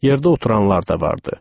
Yerdə oturanlar da vardı.